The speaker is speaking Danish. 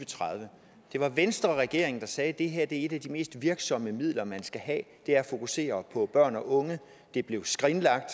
og tredive det var venstreregeringen der sagde at et af de mest virksomme midler man kan have er at fokusere på børn og unge det blev skrinlagt